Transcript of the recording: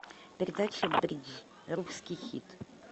передача бридж русский хит